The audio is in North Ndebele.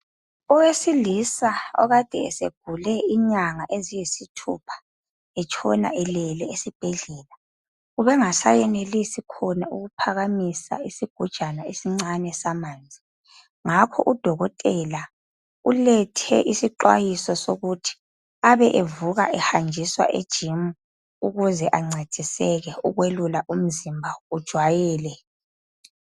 Owesilisa okade segule inyanga eziyisithupha etshona elele esibhedlela ube engaseyenelisi khona ukuphakamisa isigujana esincane samanzi ngapho udokotela ulethe isixwayiso sokuthi abe evuka ehanjiswa ejimu ukuze ancediseke ukuyelula umzimba ukuze ujayele.